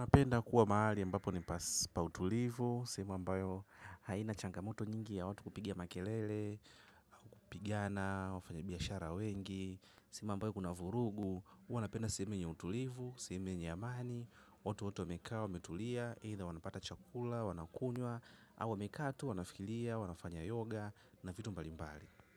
Napenda kuwa maali ambapo ni pautulivu, sehemu ambayo haina changamoto nyingi ya watu kupiga makelele, pigana, wafanyabiashara wengi, sehemu ambayo kuna vurugu, huwanapenda sehemu yenye utulivu, sehemu yenye amani, watu wote wamekaa, wametulia, eitha wanapata chakula, wanakunywa, au wamekaa tu, wanafikilia, wanafanya yoga, na vitu mbalimbali.